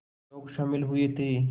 लोग शामिल हुए थे